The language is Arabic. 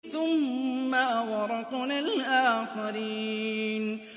ثُمَّ أَغْرَقْنَا الْآخَرِينَ